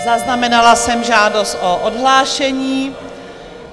Zaznamenala jsem žádost o odhlášení.